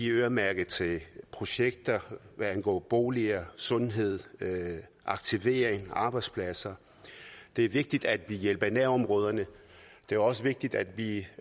øremærket til projekter som angår boliger sundhed aktivering og arbejdspladser det er vigtigt at vi hjælper i nærområderne det er også vigtigt at vi